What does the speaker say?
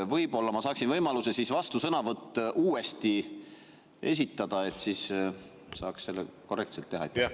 Võib-olla ma saaksin siis võimaluse vastusõnavõtt uuesti esitada, siis saaks selle korrektselt teha?